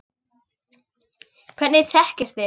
Hvernig þekkist þið?